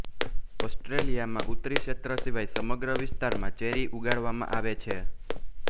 ઑસ્ટ્રેલિયામાં ઉત્તરી ક્ષેત્ર સિવાય સમગ્ર વિસ્તારમાં ચેરી ઉગાડવામાં આવે છે